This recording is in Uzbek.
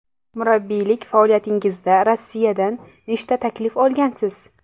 Murabbiylik faoliyatingizda Rossiyadan nechta taklif olgansiz?